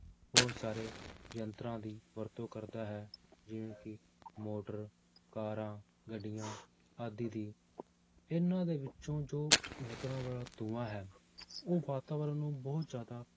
ਬਹੁਤ ਸਾਰੇ ਯੰਤਰਾਂ ਦੀ ਵਰਤੋਂ ਕਰਦਾ ਹੈ, ਜਿਵੇਂ ਕਿ ਮੋਟਰ ਕਾਰਾਂ, ਗੱਡੀਆਂ ਆਦਿ ਦੀ ਇਹਨਾਂ ਦੇ ਵਿੱਚੋਂ ਜੋ ਨਿਕਲਣ ਵਾਲਾ ਧੂੰਆ ਹੈ ਉਹ ਵਾਤਾਵਰਨ ਨੂੰ ਬਹੁਤ ਜ਼ਿਆਦਾ